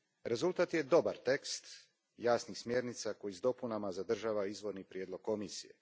Rezultat je dobar tekst jasnih smjernica koji s dopunama zadržava izvorni prijedlog Komisije.